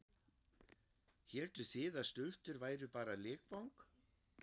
Hélduð þið að stultur væru bara leikvang?